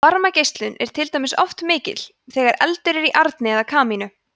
varmageislun er til dæmis oft mikil þegar eldur er í arni eða kamínu